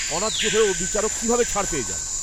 অন্যায্য হয়েও বিচারক কিভাবে ছাড় পেয়ে যান?